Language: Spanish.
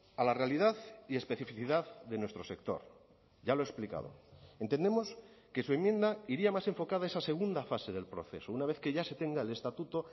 a la realidad y especificidad de nuestro sector ya lo he explicado entendemos que su enmienda iría más enfocada a esa segunda fase del proceso una vez que ya se tenga el estatuto